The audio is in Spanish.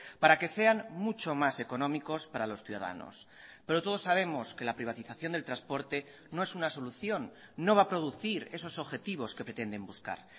para que sean mucho más económicos para los ciudadanos pero todos sabemos que la privatización del transporte no es una solución no va a producir esos objetivos que pretenden buscar